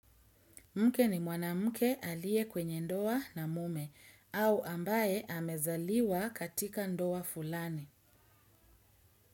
Mke ni mwanamke aliye kwenye ndoa na mume au ambaye amezaliwa katika ndoa fulani.